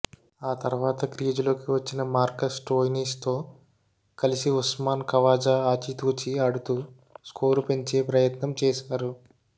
ఆ తర్వాత క్రీజులోకి వచ్చిన మార్కస్ స్టోయినిస్తో కలిసి ఉస్మాన్ ఖావాజా ఆచితూచి ఆడుతూ స్కోరు పెంచే ప్రయత్నం చేశారు